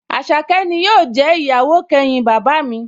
Àṣàkẹ́ ni yóò jẹ́ ìyàwó kẹyìn bàbá mi